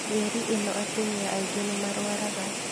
Mĩeri ĩno atumia aingi nimarwaraga